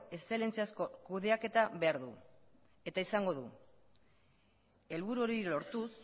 eszelentziazko kudeaketa behar du eta izango du helburu hori lortuz